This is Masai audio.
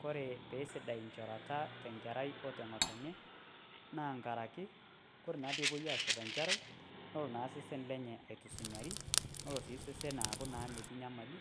Kore pee sidai nchorata te nkerai o te ng'otonye naa nkaraki kore naa pee epoi ashor nkerai nelo naa osesen lenye aitusunyari, nelo naa sesen aaku metii naa nyamali,